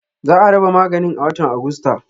Za a raba maganin a watan Agusta.